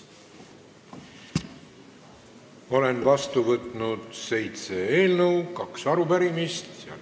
Olen vastu võtnud seitse eelnõu ja kaks arupärimist.